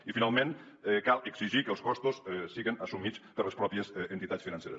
i finalment cal exigir que els costos siguen assumits per les pròpies entitats financeres